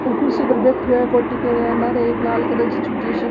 वो कुर्सी पर बैठो है कोटि पहरा लार लाल कलर की छोटी सी --